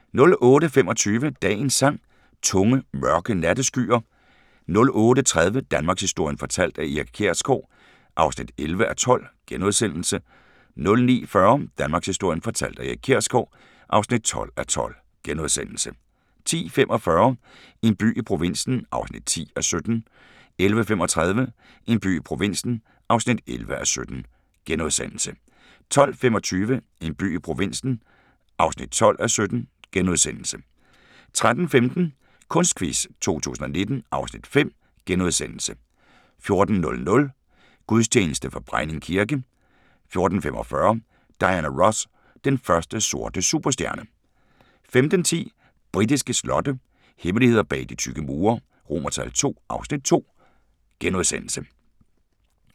08:25: Dagens Sang: Tunge, mørke natteskyer 08:30: Danmarkshistorien fortalt af Erik Kjersgaard (11:12)* 09:40: Danmarkshistorien fortalt af Erik Kjersgaard (12:12)* 10:45: En by i provinsen (10:17) 11:35: En by i provinsen (11:17)* 12:25: En by i provinsen (12:17)* 13:15: Kunstquiz 2019 (Afs. 5)* 14:00: Gudstjeneste fra Brejning kirke 14:45: Diana Ross – den første sorte superstjerne 15:10: Britiske slotte – hemmeligheder bag de tykke mure II (Afs. 2)*